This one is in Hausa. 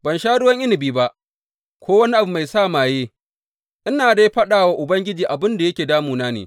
Ban sha ruwan inabi ba, ko wani abu mai sa maye, ina dai faɗa wa Ubangiji abin da yake damuna ne.